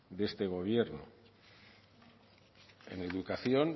de este gobierno en educación